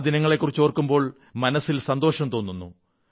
ആ ദിനങ്ങളെക്കുറിച്ചോർക്കുമ്പോൾ മനസ്സിൽ സന്തോഷം തോന്നുന്നു